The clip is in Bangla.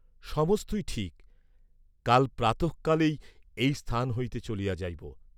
সমস্তই ঠিক, কাল প্রাতঃকালেই এই স্থান হইতে চলিয়া যাইব।